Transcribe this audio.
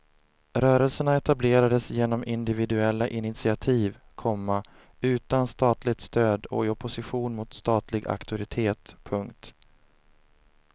Rörelserna etablerades genom individuella initiativ, komma utan statligt stöd och i opposition mot statlig auktoritet. punkt